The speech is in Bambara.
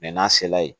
n'a sela ye